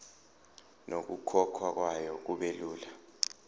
nokukhokhwa kwayo kubelula